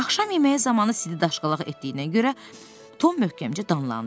Axşam yeməyi zamanı Sid daşqalaq etdiyinə görə Tom möhkəmcə danlandı.